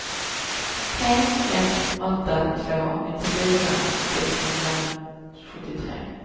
tre ett åtta två nittiofyra sexhundrasjuttiotre